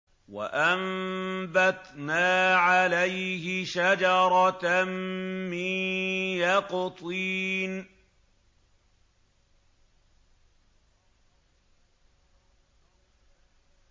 وَأَنبَتْنَا عَلَيْهِ شَجَرَةً مِّن يَقْطِينٍ